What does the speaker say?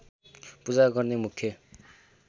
पूजा गर्ने मुख्य